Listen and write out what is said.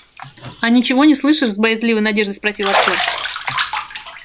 а ничего не слышишь с боязливой надеждой спросил артем